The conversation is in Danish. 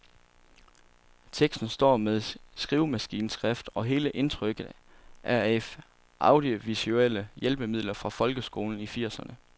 Teksten står med skrivemaskineskrift, og hele indtrykket er af audiovisuelle hjælpemidler fra folkeskolen i firserne.